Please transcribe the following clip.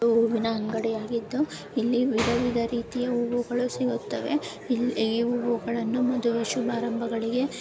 ಇದು ಹೂವಿನ ಅಂಗಡ್ಡಿ ಆಗಿದ್ದು ಇಲ್ಲಿ ವಿಧ ವಿಧ ರೀತಿಯ ಹೂವುಗಳು ಸಿಗುತವೇ ಇಲ್ಲಿ ಇವುಗಳನ್ನು ಮದುವೆ ಶುಭರಂಬಗಳಿಗೆ --